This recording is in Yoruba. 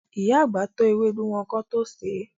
Ìyá àgbà tọ́ ewédú wọn kán tó sèé.